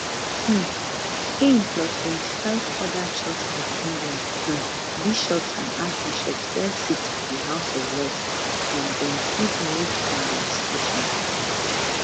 um im plus 25 oda church of england um bishops and archbishops get seats for di house of lords and dem fit vote on legislation